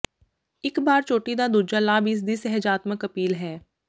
ਇੱਕ ਬਾਰ ਚੋਟੀ ਦਾ ਦੂਜਾ ਲਾਭ ਇਸਦੀ ਸੁਹਜਾਤਮਕ ਅਪੀਲ ਹੈ